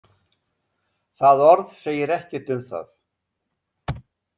Það orð segir ekkert um það.